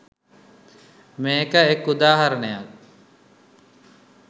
මේක එක උදාහරණයක්.